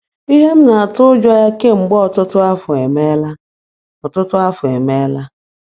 Ihe m na-atụ ụjọ ya kemgbe ọtụtụ afọ emeela! ọtụtụ afọ emeela!